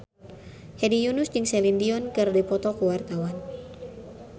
Hedi Yunus jeung Celine Dion keur dipoto ku wartawan